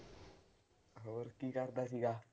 ਹੋਰ ਕੀ ਕਰਦਾ ਸੀਗਾ।